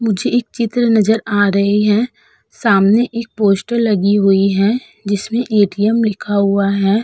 मुझे एक चित्र नजर आ रही है। सामने एक पोस्टर लगी हुई हैं जिसमें ए.टी.एम. लिखा हुआ है।